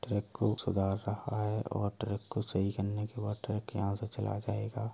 Truck को सुधर रहा है और ट्रक को सही करने बाद ट्रक यहां से चला जायेगा।